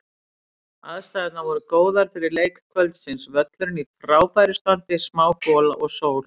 Aðstæðurnar voru góðar fyrir leik kvöldsins, völlurinn í frábæra standi, smá gola og sól.